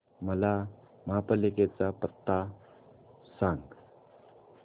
मला महापालिकेचा पत्ता सांग